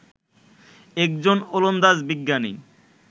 একজন ওলন্দাজ বিজ্ঞানী